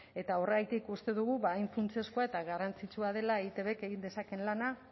eta horregatik uste dugu hain funtsezkoa eta garrantzitsua dela eitbk egin dezakeen lana